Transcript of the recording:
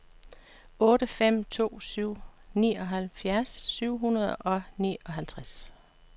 otte fem to syv nioghalvfjerds syv hundrede og nioghalvtreds